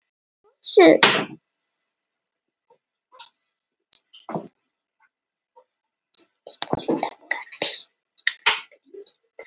Ég virti plötuna fyrir mér.